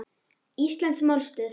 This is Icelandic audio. Íslensk málstöð